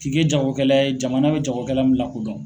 K'i ke jagokɛla ye jamana bɛ jagokɛla min lakodɔn.